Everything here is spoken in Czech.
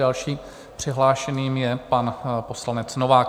Dalším přihlášeným je pan poslanec Novák.